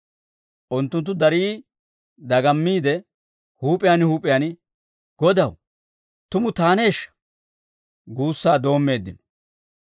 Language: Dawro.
Unttunttu darii dagammiide, huup'iyaan huup'iyaan, «Godaw, tumu taaneeshsha?» guussaa doommeeddino.